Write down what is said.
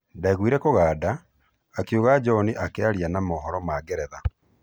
"Ndaiguire kũganda," akiuga John akĩaria na mohoro ma Ngeretha.